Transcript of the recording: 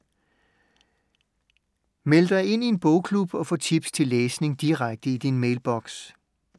Meld dig ind i en bogklub og få tips til læsning direkte i din mailboks.